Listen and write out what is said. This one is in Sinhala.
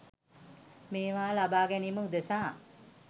මේවා ලබා ගැනීම උදෙසා